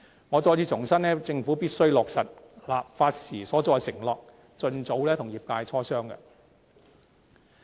我重申，政府必須落實立法時所作的承諾，盡早與業界磋商。